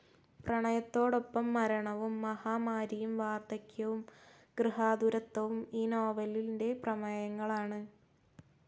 പ്രണയത്തോടൊപ്പം മരണവും മഹാമാരിയും വാർദ്ധക്യവും ഗൃഹാതുരത്വവും ഈ നോവലിന്റെ പ്രമേയങ്ങളാണ്.